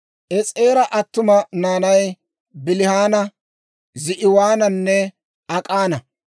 Es'eera attuma naanay Bilihaana, Za'iwaananne Ak'ana.